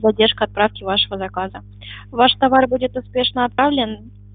задержка отправки вашего заказа ваш товар будет успешно отправлен